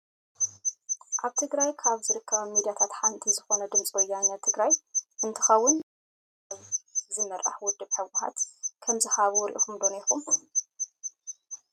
ኣብ ትግራይ ካብ ዝርከባ ሚዳታት ሓንቲ ዝኮነት ድምፂ ወያኔ ትግራይ እንትከውን መግለፂ ብኣይተ ጌታቸው ረዳ ዝምራሕ ውድብ ህውሓት ከምዝሃቡ ሪኢኩሞ ዶ ነርኩም?